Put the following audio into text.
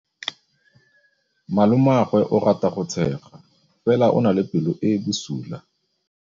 Malomagwe o rata go tshega fela o na le pelo e e bosula.